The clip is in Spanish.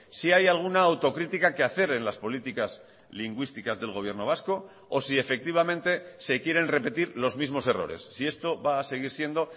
si hay alguna autocrítica que hacer en las políticas lingüísticas del gobierno vasco o si efectivamente se quieren repetir los mismos errores si esto va a seguir siendo